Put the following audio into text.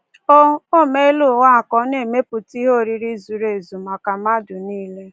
O O meela ụwa a ka ọ na-emepụta ihe oriri zuru ezu maka mmadụ nile.